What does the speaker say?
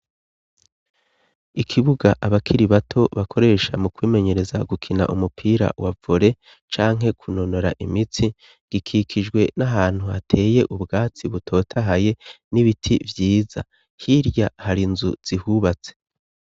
Ikibuga abakiri bato bakoresha mu kwimenyereza gukina umupira wa vore canke kunonora imitsi gikikijwe n'ahantu hateye ubwatsi butotahaye n'ibiti vyiza hirya hari nzu zihubatse.